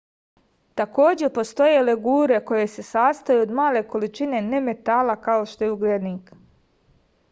takođe postoje legure koje se sastoje od male količine nemetala kao što je ugljenik